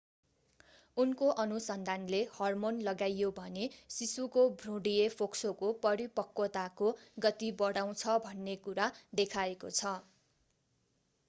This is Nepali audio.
उनको अनुसन्धानले हर्मोन लगाइयो भने शिशुको भ्रूणीय फोक्सोको परिपक्वताको गति बढाउँछ भन्ने कुरा देखाएको छ